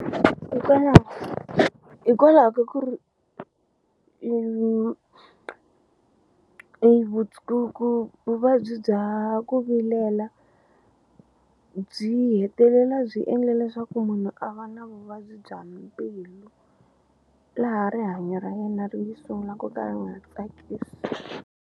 hikwalaho ka ku ri vuvabyi bya ku vilela byi hetelela byi endle leswaku munhu a va na vuvabyi bya mbilu laha rihanyo ra yena ri sungula ku ka a nga tsakisi.